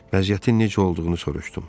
Vəziyyətin necə olduğunu soruşdum.